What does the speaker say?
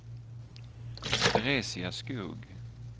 Teresia Skog